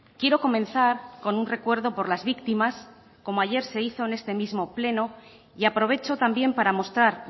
quiero comenzar con un recuerdo por las víctimas como ayer se hizo en este mismo pleno y aprovecho también para mostrar